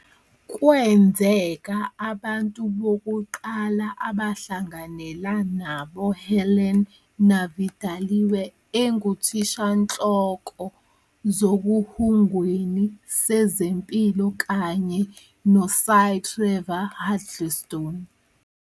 Kwenzeka abantu bokuqala abahlanganela naboHelen Navidaliwe enguthishanhloko zokuhungweni sezempilo kanye neSy Trevor Huddleston.